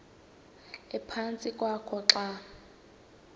ephantsi kwakho xa